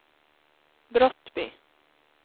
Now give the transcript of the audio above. Brottby